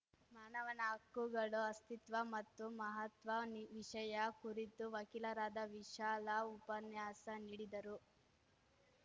ಮಾನವನ ಹಕ್ಕುಗಳ ಅಸ್ತಿತ್ವ ಮತ್ತು ಮಹತ್ವ ವಿಷಯ ಕುರಿತು ವಕೀಲರಾದ ವಿಶಾಲ ಉಪನ್ಯಾಸ ನೀಡಿದರು